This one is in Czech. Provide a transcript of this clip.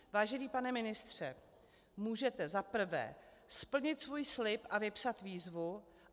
Vážený pane ministře, můžete za prvé splnit svůj slib a vypsat výzvu?